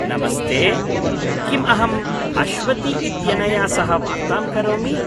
नमस्ते, किम् अहम् अश्वति इत्यनया सह वार्तां करोमि?